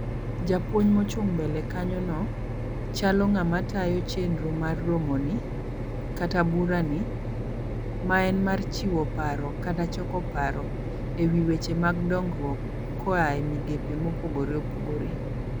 Japuonj mochung' mbele kanyo no, chalo ng'ama tayo chenro mar romo ni, kata bura ni, ma en mar chiwo paro kata choko paro, e wi weche mag dongruok koae migepe mopogore opogore.